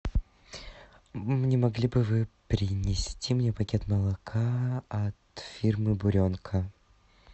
не могли бы вы принести мне пакет молока от фирмы буренка